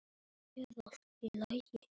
Á hann þrjú börn.